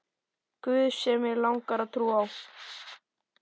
guð sem mig langar að trúa á.